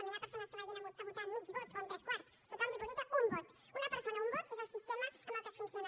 no hi ha persones que vagin a votar amb mig vot o amb tres quarts tothom diposita un vot una persona un vot és el sistema amb què es funciona